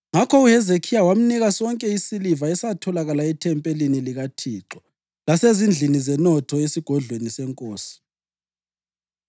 Ngakho uHezekhiya wamnika sonke isiliva esatholakala ethempelini likaThixo lasezindlini zenotho yesigodlweni senkosi.